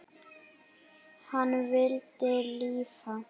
Hann vildi lifa.